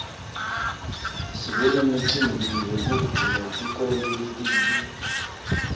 sibe nemicimbi wekuvula tikolo letinsha